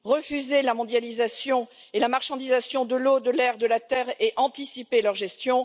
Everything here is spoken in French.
refuser la mondialisation et la marchandisation de l'eau, de l'air, de la terre et anticiper leur gestion